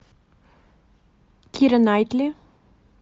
кира найтли